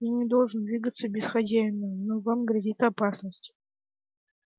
я не должен двигаться без хозяина но вам грозит опасность